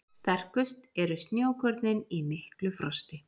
Sterkust eru snjókornin í miklu frosti.